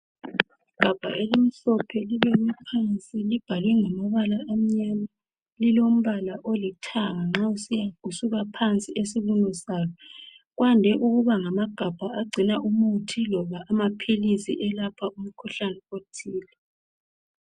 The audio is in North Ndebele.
Igabha elimhlophe libekwe phansi, libhalwe ngamabala amyama. Lilombala olithanga nxa usuka phansi esibunu salo. Kwande ukuba ngamagabha agcina umuthi loba amaphilisi elapha umkhuhlani othile.